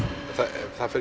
það fer